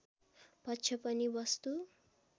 पक्ष पनि वस्तु